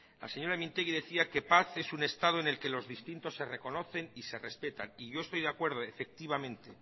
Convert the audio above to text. la señora mintegi decía que paz es un estado en el que los distintos se reconocen y se respetan y yo estoy de acuerdo efectivamente